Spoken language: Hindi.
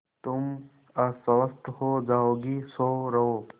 तुम अस्वस्थ हो जाओगी सो रहो